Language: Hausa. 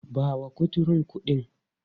Ba wa kuturun kuɗin!.